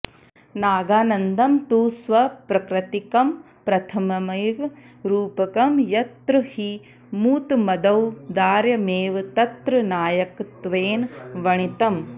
नागानन्दं तु स्वप्रकृतिकं प्रथममेव रूपकं यत्र हि मूतमदौदार्यमेव तत्र नायकत्वेन वणितम्